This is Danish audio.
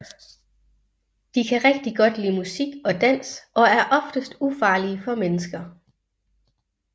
De kan rigtig godt lide musik og dans og er oftest ufarlige for mennesker